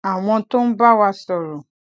àwọn tó ń bá wa sọrọ